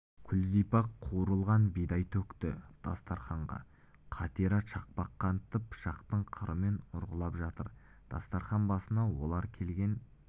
күлзипа қуырылған бидай төкті дастарқанға қатира шақпақ қантты пышақтың қырымен ұрғылап жатыр дастарқан басына олар келген